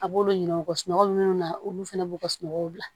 A b'olu yira u ka sunɔgɔ munnu na olu fɛnɛ b'u ka sunɔgɔw bila